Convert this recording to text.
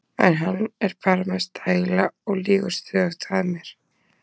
En hann er bara með stæla og lýgur stöðugt að mér.